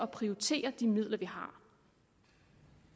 prioritere de midler